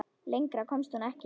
Lengra komst hún ekki.